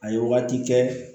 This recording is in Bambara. A ye wagati kɛ